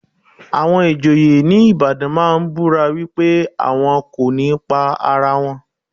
Àwọn ìjòyè ní Ìbàdàn máa ń búra wípé àwọn kò ní pa ara wọn.